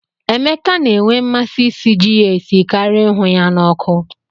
Emeka na-enwe mmasị isi ji ya esi karia ịhụ ya na ọkụ.